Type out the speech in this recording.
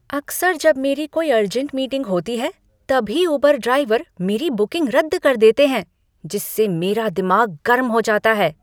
अक्सर जब मेरी कोई अर्जेंट मीटिंग होती है तभी उबर ड्राइवर मेरी बुकिंग रद्द कर देते हैं जिससे मेरा दिमाग गर्म हो जाता है।